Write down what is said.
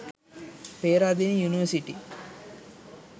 peradeniya university